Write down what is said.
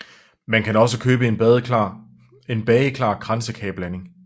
Man kan også købe en bageklar kransekageblanding